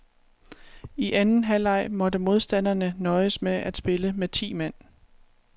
I anden halvleg måtte modstanderne nøjes med at spille med ti mand.